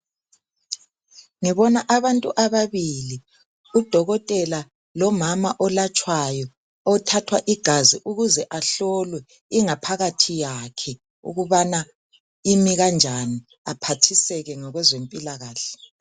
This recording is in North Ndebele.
Ngibona abantu ababili, udokotela lomama olatshwayo, othathwa igazi ukuze ahlolwe ingaphakathi yakhe ukubana imi kanjani aphathiseke ngokwezempila kahle.